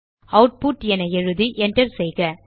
output என எழுதி enter செய்க